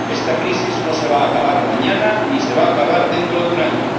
Esta crisis no se va a acabar mañana, ni se va a acabar dentro de un año.